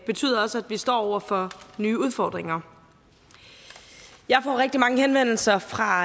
betyder også at vi står over for nye udfordringer jeg får rigtig mange henvendelser fra